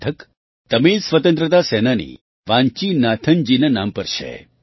તે મથક તમિલ સ્વતંત્રતા સેનાની વાન્ચીનાથનજીના નામ પર છે